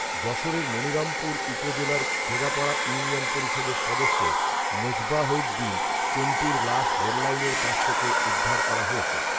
যশোরের মনিরামপুর উপজেলার খেদাপাড়া ইউনিয়ন পরিষদের সদস্য মেজবাহউদ্দিন চন্টুর লাশ রেললাইনের পাশ থেকে উদ্ধার করা হয়েছে